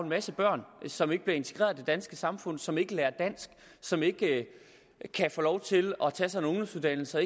masse børn som ikke bliver integreret i danske samfund som ikke lærer dansk som ikke kan få lov til at tage sig en ungdomsuddannelse og